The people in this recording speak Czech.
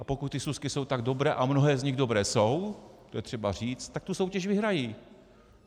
A pokud ty súsky jsou tak dobré, a mnohé z nich dobré jsou, to je třeba říct, tak tu soutěž vyhrají.